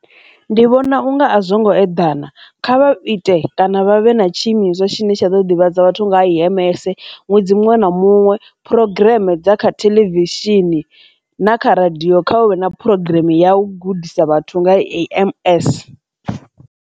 Ndi vhona unga a zwo ngo eḓana, kha vha ite kana vha vhe na tshiimiswa tshine tsha ḓo ḓivhadza vhathu nga ha A_M_S ṅwedzi muṅwe na muṅwe phurogireme dza kha theḽevishini na kha radio kha vha vhe na programm ya u gudisa vhathu nga ha A_M_S.